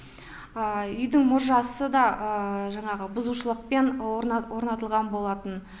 үйдің мұржасы да жаңағы бұзушылықпен орнатылған болатын